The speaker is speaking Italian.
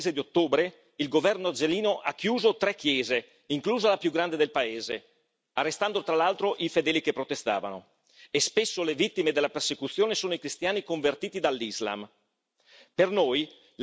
Ricordavamo prima che, nel solo mese di ottobre, il governo algerino ha chiuso tre chiese, inclusa la più grande del paese, arrestando tra l'altro i fedeli che protestavano, e spesso le vittime della persecuzione sono i cristiani convertiti dall'Islam.